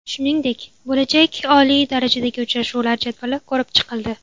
Shuningdek, bo‘lajak oliy darajadagi uchrashuvlar jadvali ko‘rib chiqildi.